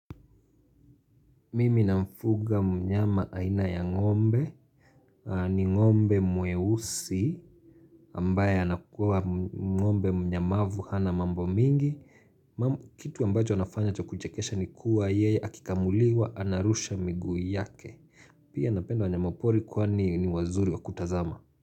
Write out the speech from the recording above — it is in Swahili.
Mimi namfuga mnyama aina ya ng'ombe ni ng'ombe mweusi ambaye anakuwa ng'ombe mnyamavu hana mambo mingi kitu ambacho anafanya cha kuchekesha ni kuwa yeye akikamuliwa anarusha miguu yake pia napenda wanyama pori kwani ni wazuri wa kutazama.